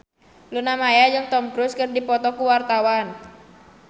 Luna Maya jeung Tom Cruise keur dipoto ku wartawan